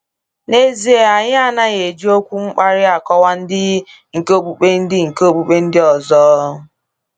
N’ezie, anyị anaghị eji okwu mkparị akọwa ndị nke okpukpe ndị nke okpukpe ndị ọzọ.